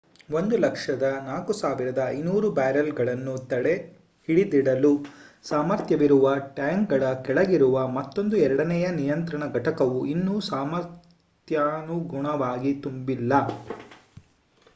104,500 ಬ್ಯಾರೆಲ್‌ಗಳನ್ನು ಹಿಡಿದಿಡಲು ಸಾಮರ್ಥ್ಯವಿರುವ ಟ್ಯಾಂಕ್‌ಗಳ ಕೆಳಗಿರುವ ಮತ್ತೊಂದು ಎರಡನೆಯ ನಿಯಂತ್ರಣ ಘಟಕವು ಇನ್ನೂ ಸಾಮರ್ಥ್ಯಕನುಗುಣವಾಗಿ ತುಂಬಿಲ್ಲ